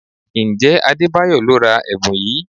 Ǹjẹ́ Adebayo lo ra ẹ̀bùn yìí?